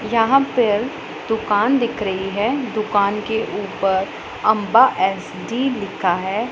यहां पे दुकान दिख रही है दुकान के ऊपर अंबा एस_डी लिखा है।